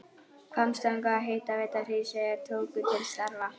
Hvammstanga og Hitaveita Hríseyjar tóku til starfa.